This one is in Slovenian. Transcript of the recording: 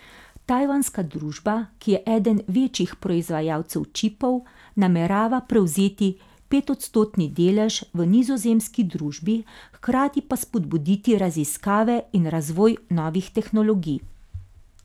Tajvanska družba, ki je eden večjih proizvajalcev čipov, namerava prevzeti petodstotni delež v nizozemski družbi hkrati pa spodbuditi raziskave in razvoj novih tehnologij.